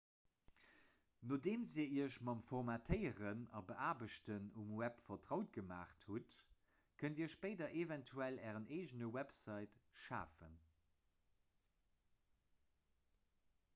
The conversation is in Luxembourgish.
nodeem dir iech mam formatéieren a beaarbechten um web vertraut gemaach hutt kënnt dir spéider eventuell ären eegene website schafen